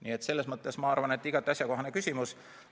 Nii et selles mõttes ma arvan, et igati asjakohane küsimus.